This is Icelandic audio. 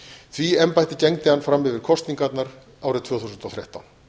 því embætti gegndi hann fram yfir kosningarnar árið tvö þúsund og þrettán